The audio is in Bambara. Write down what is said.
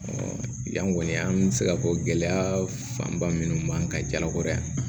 yan kɔni an bɛ se ka fɔ gɛlɛya fanba minnu b'an ka jalakɔrɔ yan